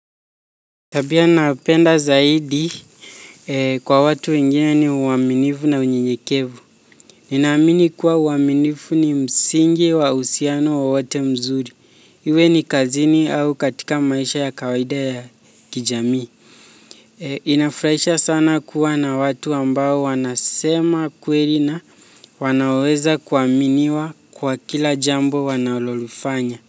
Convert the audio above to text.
Tabia napenda zaidi kwa watu wengine ni uaminifu na unyenyekevu. Ninaamini kuwa uaminifu ni msingi wa uhusiano wowote mzuri. Iwe ni kazini au katika maisha ya kawaida ya kijamii. Inafraisha sana kuwa na watu ambao wanasema ukweli na wanaoweza kuaminiwa kwa kila jambo wanalolifanya.